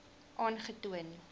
aangetoon